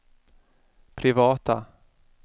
privata